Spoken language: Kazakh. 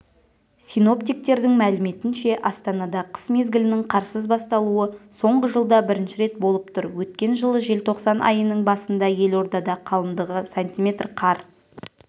синоптиктердің мәліметінше астанада қыс мезгілінің қарсыз басталуы соңғы жылда бірінші рет болып тұр өткен жылы желтоқсан айының басында елордада қалындығы сантиметр қар